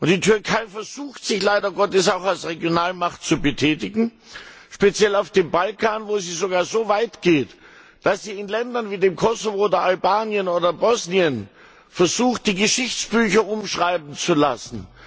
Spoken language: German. Die Türkei versucht sich leider Gottes auch als Regionalmacht zu betätigen, speziell auf dem Balkan, wo sie sogar so weit geht, dass sie in Ländern wie dem Kosovo oder Albanien oder Bosnien versucht, die Geschichtsbücher umschreiben zu lassen.